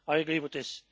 I agree with this.